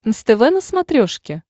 нств на смотрешке